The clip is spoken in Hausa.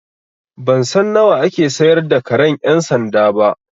Ban san nawa ake sayar da karen ƴan sanda ba.